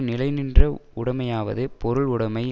நிலைநின்ற உடைமையாவது பொருள் உடைமை